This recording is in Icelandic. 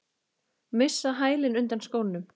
Missa hælinn undan skónum.